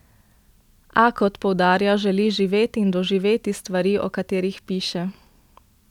A, kot poudarja, želi živeti in doživeti stvari, o katerih piše.